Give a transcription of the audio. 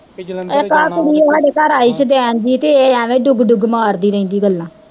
ਇੱਕ ਆਹ ਕੁੜੀ ਓ ਸਾਡੇ ਘਰ ਆਈ ਸ਼ੁਦੈਨ ਜਹੀ ਤੇ ਏਹ ਅਵੇ ਡੁਗ ਡੁਗ ਮਾਰਦੀ ਰਹਿੰਦੀ ਗੱਲਾਂ